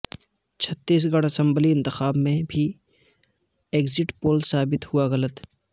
چھتیس گڑھ اسمبلی انتخاب میں بھی ایگزٹ پول ثابت ہوا غلط